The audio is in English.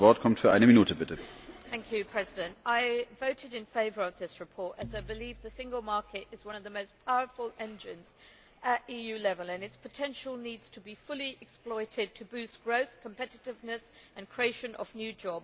Mr President, I voted in favour of this report as I believe the single market is one of the most powerful engines at EU level, and its potential needs to be fully exploited to boost growth, competitiveness and creation of new jobs.